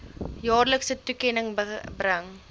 jaarlikse toekenning bring